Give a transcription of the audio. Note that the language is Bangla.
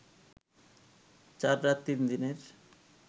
৪ রাত ৩ দিনের